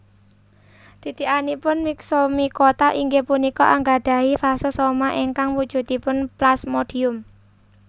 Titikanipun myxomycota inggih punika anggadhahi fase soma ingkang wujudipun plasmodium